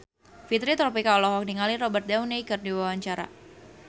Fitri Tropika olohok ningali Robert Downey keur diwawancara